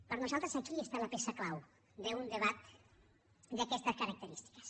per nosaltres aquí està la peça clau d’un debat d’aquestes característiques